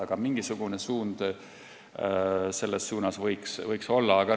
Aga mingisugune suund võiks siin olla.